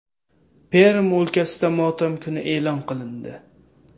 Perm o‘lkasida motam kuni e’lon qilindi.